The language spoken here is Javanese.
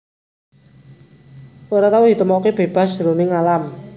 Ora tau ditemokaké bébas jroning alam